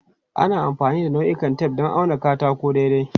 Ana amfani da ma'aunin tef don auna katako daidai.